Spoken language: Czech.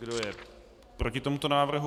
Kdo je proti tomuto návrhu?